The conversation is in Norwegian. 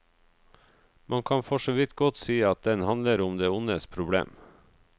Man kan forsåvidt godt si at den handler om det ondes problem.